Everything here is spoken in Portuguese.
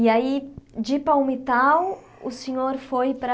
E aí, de Palmitau, o senhor foi para...